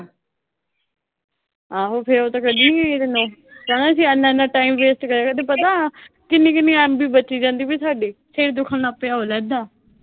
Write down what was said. ਆਹੋ ਫਿਰ ਉਹ ਤਾਂ ਕੱਢਣੀਆਂ ਈ ਆ ਤੈਨੂੰ ਅਸੀਂ ਐਨਾ-ਐਨਾ ਟਾਈਮ ਵੇਸਟ ਕਰਿਆ ਤੇ ਪਤਾ ਕਿੰਨੀ-ਕਿੰਨੀ MB ਬਚ ਜਾਂਦੀ ਸੀ ਸਾਡੀ। ਸਿਰ ਦੁਖਣ ਲੱਗ ਪਿਆ ਉਹ ਅਲੱਗ ਆ।